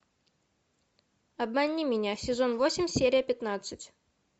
обмани меня сезон восемь серия пятнадцать